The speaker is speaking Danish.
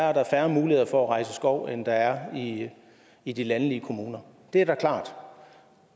er der færre muligheder for at rejse skov end der er i de landlige kommuner det er da klart